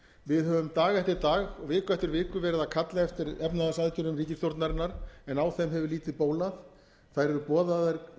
við höfum dag eftir dag og viku eftir viku verið að kalla eftir efnahagsaðgerðum ríkisstjórnarinnar en á þeim hefur lítið bólað þær eru boðaðar í